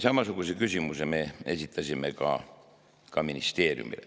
Samasuguse küsimuse esitasime ministeeriumile.